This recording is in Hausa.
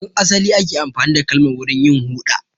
Tun asali ake amfani da Galman wurin yin huɗa.